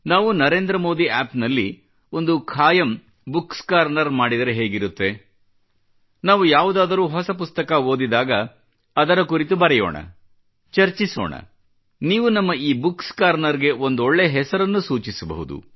ನಾವು ನರೇಂದ್ರ ಮೋದಿ ಆಪ್ ನಲ್ಲಿ ಒಂದು ಖಾಯಂ ಬುಕ್ಸ್ ಕಾರ್ನರ್ ಮಾಡಿದರೆ ಹೇಗಿರತ್ತೆ ಮತ್ತು ನಾವು ಯಾವುದಾದರೂ ಹೊಸ ಪುಸ್ತಕ ಓದಿದಾಗ ಅದರ ಕುರಿತು ಬರೆಯೋಣ ಚರ್ಚಿಸೋಣ ಮತ್ತು ನೀವು ನಮ್ಮ ಈ ಬುಕ್ಸ್ ಕಾರ್ನರ್ಗೆ ಒಂದೊಳ್ಳೆ ಹೆಸರನ್ನು ಸೂಚಿಸಬಹುದು